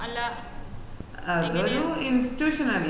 അതൊരു institution അല്ലെ